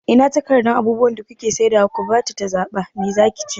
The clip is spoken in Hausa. Ina takardan abubuwan da kuke saidawa ku bata ta zaɓa, me zaki ci?